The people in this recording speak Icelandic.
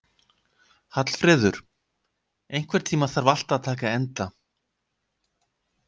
Hallfreður, einhvern tímann þarf allt að taka enda.